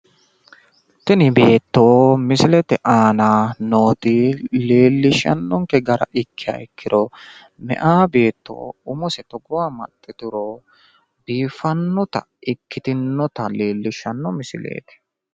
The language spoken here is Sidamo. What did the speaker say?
tini beetto misilete aana nooti leelishannonke gara ikkiro meyaa beeto togooha umose amaxxituro biifanota leellishshannonke misileeti.